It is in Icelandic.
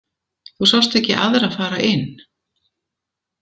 Þú sást ekki aðra fara inn?